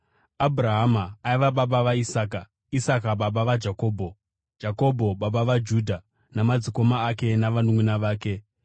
Abhurahama aiva baba vaIsaka, Isaka baba vaJakobho, Jakobho baba vaJudha namadzikoma ake, navanunʼuna vake,